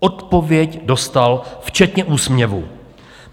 Odpověď dostal včetně úsměvu.